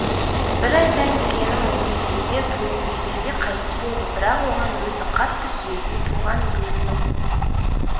бір айтайын дегенім ол ресейде туып ресейде қайтыс болды бірақ оған өзі қатты сүйетін туған елінің